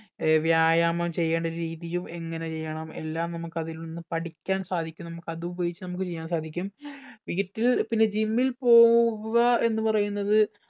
ഏർ വ്യായാമം ചെയ്യണ്ട രീതിയും എങ്ങനെ ചെയ്യണം എല്ലാം നമ്മക്ക് അതിൽ നിന്നും പഠിക്കാൻ സാധിക്കും നമുക്ക് അത് ഉപയോഗിച്ച് ചെയ്യാൻ സാധിക്കും വീട്ടിൽ പിന്നെ gym ൽ പോവുക എന്ന് പറയുന്നത്